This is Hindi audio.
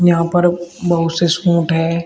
यहां पर बहुत से सूट हैं।